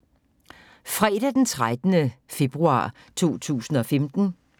Fredag d. 13. februar 2015